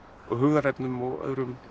og hugðarefnum og öðrum